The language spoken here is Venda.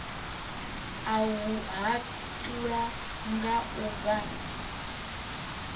u hatula nga u vha